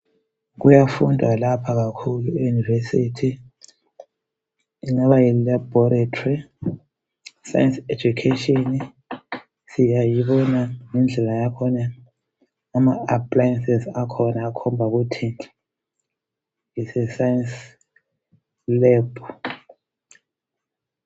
Kuyafundwa lapha kakhulu e yunivesithi, ingaba yi labhoretri science education siyayibona ngendlela yakhona ama appliances akhona akhomba ukuthi it's a science lab.